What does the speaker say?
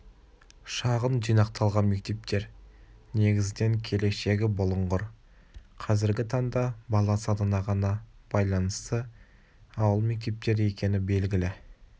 шағын жинақталған мектептер негізінен келешегі бұлыңғыр қазіргі таңда бала санына ғана байланысты ауыл мектептері екені белгілі